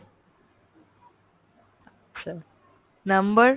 আচ্ছা number